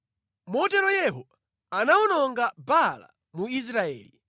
Motero Yehu anawononga Baala mu Israeli.